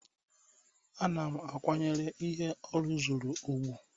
Ana m akwanyere ihe ọ rụzuru ùgwù